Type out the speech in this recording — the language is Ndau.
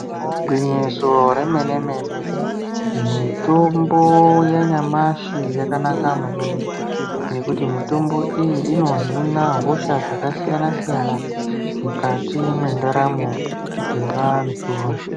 Igwinyiso remene-mene mitombo yanyamashi yakanaka maningi ngekuti mitombo iyi inohina hosha dzakasiyana-siyana mukati mwendaramo dzevantu.